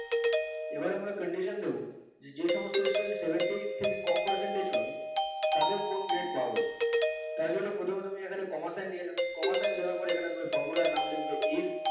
এবার আমরা condition দেব যে যেসমস্ত student seventy থেকে কম percentage পাবে তাদের কোন grade পাওয়া উচিত তার জন্য প্রথমে তুমি এখানে comma sign নিয়ে নেবে comma sign দেওয়ার পরে এখানে তুমি formula র নাম লেখবে if